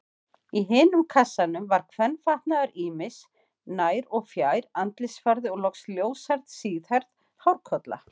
Í hinum kassanum var kvenfatnaður ýmis, nær- og fjær-, andlitsfarði og loks ljóshærð, síðhærð hárkolla.